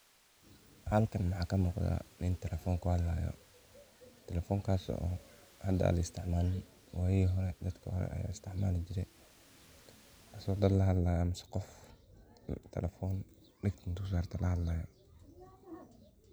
halkan maxaa kamuqda nin talefon kuhadlayo. talefonkaas oo hada an la isticmaalin, waayihi hore dadkii hore ay isticmaali jiren .aso dad la hadlayo amase qof intuu talefon dhegta intu sarte lahadlayo